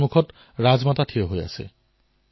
মই দুৱাৰ খোলাত ৰাজমাতা বাহিৰত থিয় দি আছিল